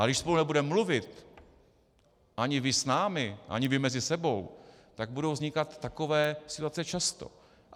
Ale když spolu nebudeme mluvit, ani vy s námi, ani vy mezi sebou, tak budou vznikat takové situace často.